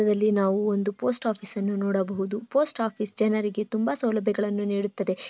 ಇಲ್ಲಿ ನಾವು ಒಂದು ಪೋಸ್ಟ್ ಆಫೀಸ್ ಅನ್ನು ನೋಡಬಹುದು ಪೋಸ್ಟ್ ಆಫೀಸ್ ಜನರಿಗೆ ತುಂಬಾ ಸೌಲಭ್ಯಗಳನ್ನು ನೀಡುತ್ತದೆ.